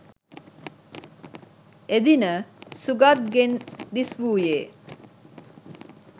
එදින සුගත් ගෙන් දිස්‌වූයේ